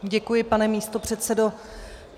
Děkuji, pane místopředsedo.